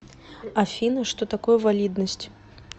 афина что такое валидность